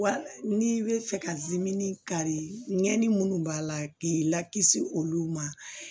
Wa n'i bɛ fɛ ka kari ɲɛnni minnu b'a la k'i lakisi olu ma